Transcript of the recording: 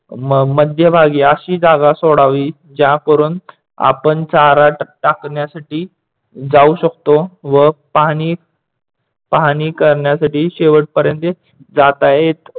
मध्यभागी अशी जागी सोडावी ज्याकरून आपण चारा टाकण्यासाठी जाऊ शकतो व पाहणी पाहणी करण्यासाठी शेवटपर्यंत जाता येत.